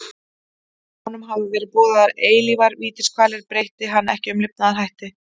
Honum hafa verið boðaðar eilífar vítiskvalir breyti hann ekki um lifnaðarhætti.